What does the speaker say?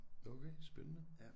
Okay spændende